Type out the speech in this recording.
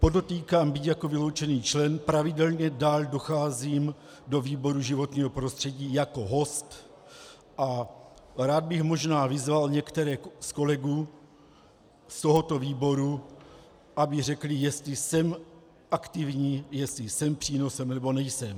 Podotýkám, byť jako vyloučený člen, pravidelně dál docházím do výboru životního prostředí jako host a rád bych možná vyzval některé z kolegů z tohoto výboru, aby řekli, jestli jsem aktivní, jestli jsem přínosem, nebo nejsem.